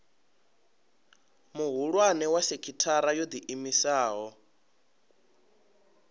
muhulwane wa sekithara yo iimisaho